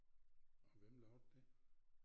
Og hvem lavede det